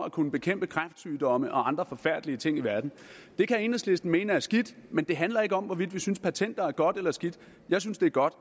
at kunne bekæmpe kræftsygdomme og andre forfærdelige ting i verden det kan enhedslisten mene er skidt men det handler ikke om hvorvidt vi synes patenter er godt eller skidt jeg synes det er godt